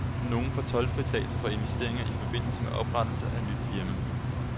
Nogle får toldfritagelse for investeringer i forbindelse med oprettelse af nyt firma.